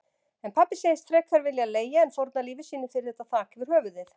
En pabbi segist frekar vilja leigja en fórna lífi sínu fyrir þetta þak yfir höfuðið.